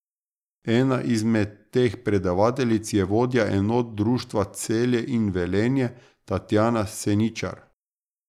Ena izmed teh predavateljic je vodja enot društva Celje in Velenje, Tatjana Seničar.